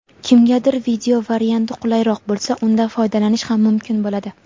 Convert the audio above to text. kimgadir video varianti qulayroq bo‘lsa undan foydalanish ham mumkin bo‘ladi.